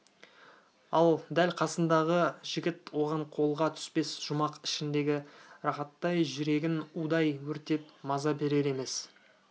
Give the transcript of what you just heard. ал дәл қасындағы жігіт оған қолға түспес жұмақ ішіндегі рахаттай жүрегін удай өртеп маза берер емес